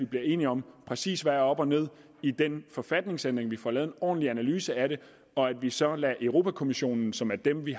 bliver enige om præcis hvad der er op og ned i den forfatningsændring vi får lavet en ordentlig analyse af det og at vi så lader europa kommissionen som er dem vi